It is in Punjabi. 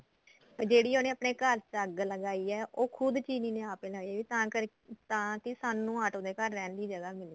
ਤੇ ਜਿਹੜੀ ਉਹਨੇ ਆਪਣੇ ਘਰ ਚ ਅੱਗ ਲਗਾਈ ਏ ਉਹ ਖੁਦ ਚੀਲੀ ਨੇ ਆਪ ਲਾਈ ਏ ਤਾਂ ਕਰਕੇ ਤਾਂ ਕਿ ਸਾਨੂੰ ਆਟੋ ਦੇ ਘਰ ਰਹਿਣ ਲਈ ਜਗ੍ਹਾ ਮਿਲੇ